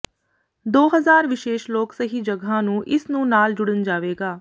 ਦੋ ਹਜ਼ਾਰ ਵਿਸ਼ੇਸ਼ ਲੋਕ ਸਹੀ ਜਗ੍ਹਾ ਨੂੰ ਇਸ ਨੂੰ ਨਾਲ ਜੁੜਨ ਜਾਵੇਗਾ